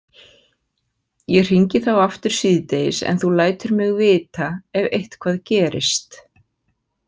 Ég hringi þá aftur síðdegis en þú lætur mig vita ef eitthvað gerist.